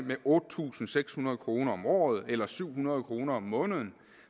med otte tusind seks hundrede kroner om året eller syv hundrede kroner om måneden